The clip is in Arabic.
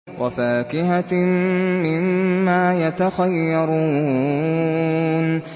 وَفَاكِهَةٍ مِّمَّا يَتَخَيَّرُونَ